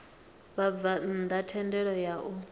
vhabvann ḓa thendelo ya u